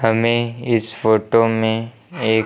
हमें इस फोटो में एक--